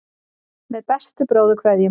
Með bestu bróðurkveðjum.